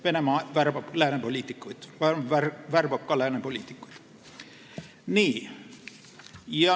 Venemaa värbab ka lääne poliitikuid.